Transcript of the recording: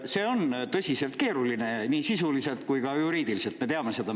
See on tõsiselt keeruline, nii sisuliselt kui ka juriidiliselt, me teame seda.